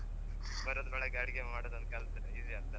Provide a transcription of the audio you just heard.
ಬರೋದ್ರೊಳಗೆ ಅಡಿಗೆ ಮಾಡುದ್ ಒಂದ್ ಕಲ್ತ್ರೆ easy ಅಗ್ತ್ ಅಲ್ಲ ಮತ್ತೆ.